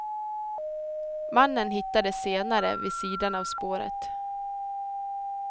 Mannen hittades senare vid sidan av spåret.